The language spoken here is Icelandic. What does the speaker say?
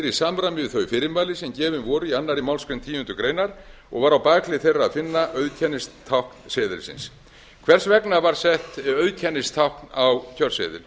í samræmi við þau fyrirmæli sem gefin voru í annarri málsgrein tíundu greinar og var á bakhlið þeirra að finna auðkennistákn seðilsins hvers vegna var sett auðkennistákn á kjörseðil